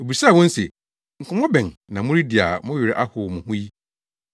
Obisaa wɔn se, “Nkɔmmɔ bɛn na moredi a mo werɛ ahow mo ho yi?”